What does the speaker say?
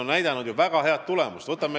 Eesti ettevõtted on ju väga häid tulemusi näidanud.